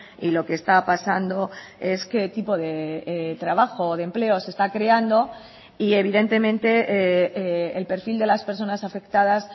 y lo que está pasando es qué tipo de trabajo o de empleo se está creando y evidentemente el perfil de las personas afectadas